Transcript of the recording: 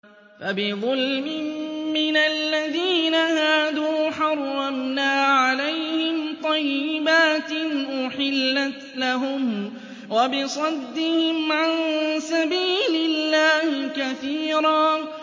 فَبِظُلْمٍ مِّنَ الَّذِينَ هَادُوا حَرَّمْنَا عَلَيْهِمْ طَيِّبَاتٍ أُحِلَّتْ لَهُمْ وَبِصَدِّهِمْ عَن سَبِيلِ اللَّهِ كَثِيرًا